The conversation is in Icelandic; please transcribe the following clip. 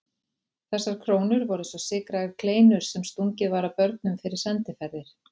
Þessar krónur voru eins og sykraðar kleinur sem stungið var að börnum fyrir sendiferðir.